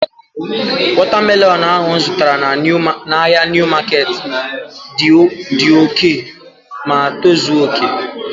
Wọta melọnu ahu mụ zụtara n'ahia Niu maketi dị oké ma tozuo oké